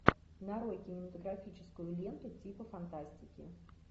нарой кинематографическую ленту типа фантастики